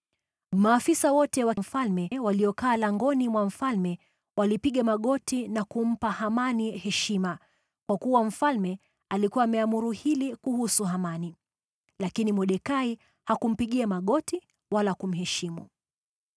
Maafisa wote wa mfalme waliokaa langoni mwa mfalme walipiga magoti na kumpa Hamani heshima, kwa kuwa mfalme alikuwa ameamuru hili kuhusu Hamani. Lakini Mordekai hakumpigia magoti wala kumheshimu.